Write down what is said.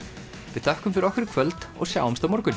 við þökkum fyrir okkur í kvöld og sjáumst á morgun